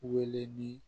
Wele ni